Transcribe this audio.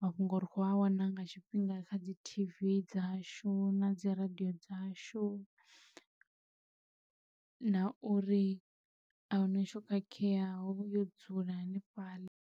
mafhungo ri kho a wana nga tshifhinga kha dzi tv dzashu na dzi radio dzashu na uri ahuna tsho khakheaho yo dzula hanefhala.